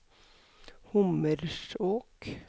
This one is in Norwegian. Hommersåk